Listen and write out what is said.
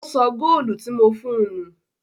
Ó sọ góólù tí mo fún un nù.